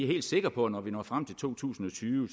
helt sikre på at når vi når frem til to tusind